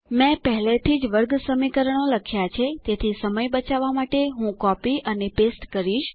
મેં પહેલેથી જ વર્ગસમીકરણો લખ્યા છે તેથી સમય બચાવવા માટે હું તે કાપીશ અને ચોતાડીશ